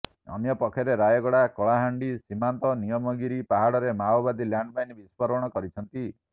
ଅନ୍ୟପକ୍ଷରେ ରାୟଗଡ଼ା କଳାହାଣ୍ଡି ସୀମାନ୍ତ ନିୟମଗିରି ପାହାଡ଼ରେ ମାଓବାଦୀ ଲ୍ୟାଣ୍ଡମାଇନ୍ ବିସ୍ଫୋରଣ କରିଛନ୍ତି